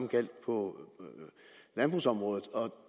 gjaldt på landbrugsområdet og